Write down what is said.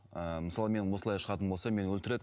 ы мысалы мен осылай шығатын болсам мені өлтіреді